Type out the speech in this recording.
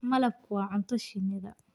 Malabku waa cunto shinnida.